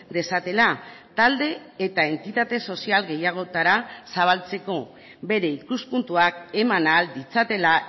dezatela talde eta entitate sozial gehiagotara zabaltzeko bere ikuspuntuak eman ahal ditzatela